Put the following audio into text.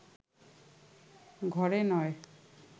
ঘরে নয়